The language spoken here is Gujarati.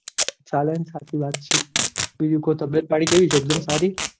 ચાલોને સાચી વાત છે બીજું કો તબિયત પાણી કેવી છે સારી